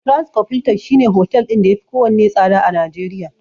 Transcorp Hilton shine hotel ɗin da yafi kowanne tsada a Najeriya.